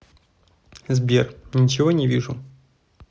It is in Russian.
сбер ничего не вижу